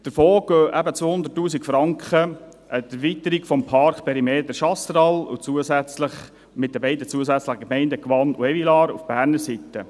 Davon gehen 200 000 Franken an die Erweiterung des Parkperimeters Chasseral mit den beiden zusätzlichen Gemeinden Gwatt und Evilard auf Berner Seite.